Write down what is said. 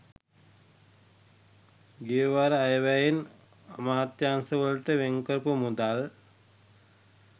ගියවර අයවැයෙන් අමාත්‍යාංශවලට වෙන්කරපු මුදල්